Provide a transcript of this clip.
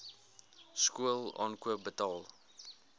skool aankoop betaal